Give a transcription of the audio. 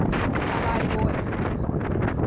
allied war effort